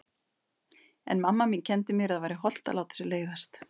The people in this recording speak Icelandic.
En mamma mín kenndi mér að það væri hollt að láta sér leiðast.